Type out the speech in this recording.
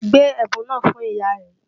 Gbé ẹ̀bùn náà fún ìyá rẹ!